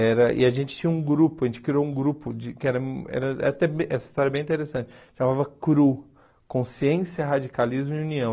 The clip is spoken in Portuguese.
Era e a gente tinha um grupo, a gente criou um grupo de que era era era até bem, essa história é bem interessante, chamava CRU, Consciência, Radicalismo e União.